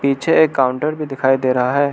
पीछे एक काउंटर भी दिखाई दे रहा है।